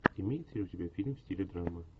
имеется ли у тебя фильм в стиле драма